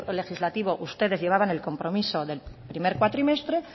legislativo ustedes llevaban el compromiso del primer cuatrimestre